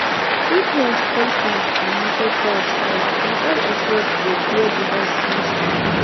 if rain spoil farm or market price fall na all of us go bear the loss small small